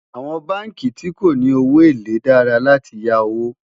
àwọn bánkì tí kò ní owó élè dára là tí yá owó